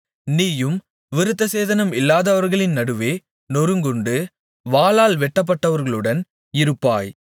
நீயும் விருத்தசேதனம் இல்லாதவர்களின் நடுவே நொறுங்குண்டு வாளால் வெட்டப்பட்டவர்களுடன் இருப்பாய்